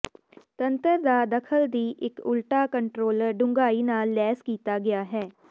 ਤੰਤਰ ਦਾ ਦਖਲ ਦੀ ਇੱਕ ਉਲਟਾ ਕੰਟਰੋਲਰ ਡੂੰਘਾਈ ਨਾਲ ਲੈਸ ਕੀਤਾ ਗਿਆ ਹੈ